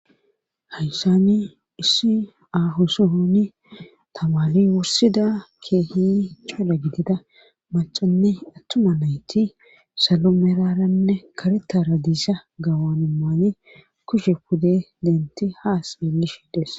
hayssani issi aho sohoni tamari wursida keehi cola gidida macanne attuma nayti salo meraranne karetara diisa gawana maaye kushe pude denti haas yelishides